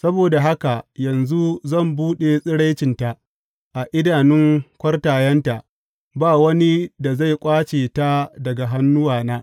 Saboda haka yanzu zan buɗe tsiraicinta a idanun kwartayenta; ba wani da zai ƙwace ta daga hannuwana.